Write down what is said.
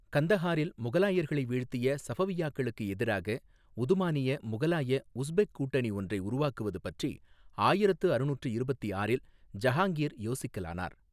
கந்தஹாரில் முகலாயர்களை வீழ்த்திய சஃபவிய்யாக்களுக்கு எதிராக உதுமானிய முகலாய உஸ்பெக் கூட்டணி ஒன்றை உருவாக்குவது பற்றி ஆயிரத்து அறுநூற்று இருபத்தி ஆறில் ஜஹாங்கீர் யோசிக்கலானார்.